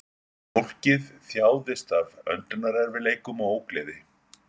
Fólkið þjáðist af öndunarerfiðleikum og ógleði